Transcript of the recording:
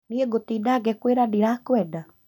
Niĩ ngũtinda ngĩkwĩra ndirakwenda